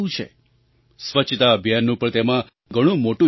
સ્વચ્છતા અભિયાનનું પણ તેમાં ઘણું મોટું યોગદાન છે